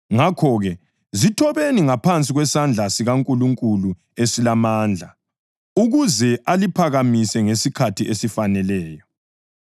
Ngakho-ke, zithobeni ngaphansi kwesandla sikaNkulunkulu esilamandla, ukuze aliphakamise ngesikhathi esifaneleyo.